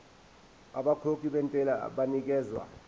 abakhokhi bentela banikezwa